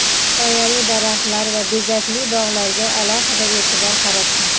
soyali daraxtlar va bezakli bog‘larga alohida e’tibor qaratgan.